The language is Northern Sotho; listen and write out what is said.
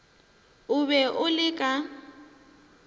o be o le ka